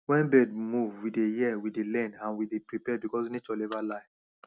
wen birds d move we dey hear we dey learn and we dey prepare becos nature never lie